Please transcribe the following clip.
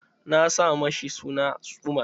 Na sa ma shi suna Umar.